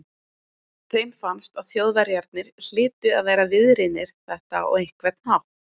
Þeim fannst að Þjóðverjarnir hlytu að vera viðriðnir þetta á einhvern hátt.